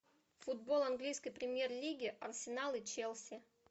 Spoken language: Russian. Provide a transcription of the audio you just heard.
футбол английской премьер лиги арсенал и челси